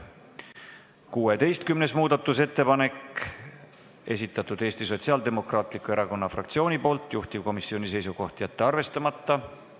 Ka 16. muudatusettepaneku on esitanud Eesti Sotsiaaldemokraatliku Erakonna fraktsiooni, juhtivkomisjoni seisukoht: jätta see arvestamata.